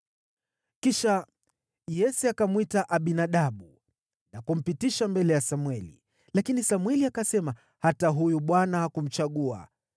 Kisha Yese akamwita Abinadabu na kumpitisha mbele ya Samweli. Lakini Samweli akasema, “Hata huyu Bwana hakumchagua.”